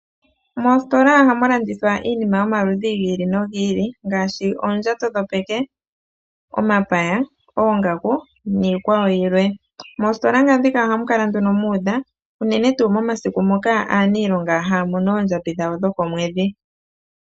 Moositola ohamu landithwa iinima yomaludhi gi ili nogi ili ngaashi oondjato dhopeke, omapaya, oongaku niikwawo yilwe. Moositola ndhika ohamu kala nduno mu udha unene tuu momasiku moka aaniilonga haya mono oondjambi dhawo dhokomwedhi.